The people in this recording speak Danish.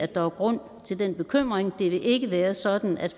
der er grund til den bekymring det vil ikke være sådan at